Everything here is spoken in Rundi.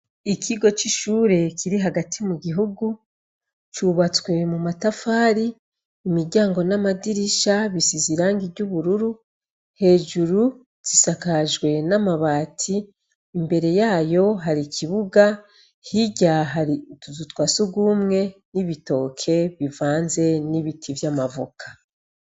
Ikigo c'ishure kiri hagati mu gihugu cubatswe mu matafari imiryango n'amadirisha bisizwe irangi ry'ubururu, hejuru zisakajwe n'amabati imbere yayo hari ikibuga hirya hari utuzu twa sugumwe n'ibitoki bivanze n'amavoka.